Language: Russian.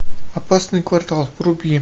опасный квартал вруби